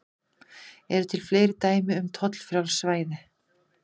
Eru til fleiri dæmi um tollfrjáls svæði?